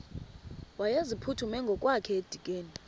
wayeziphuthume ngokwakhe edikeni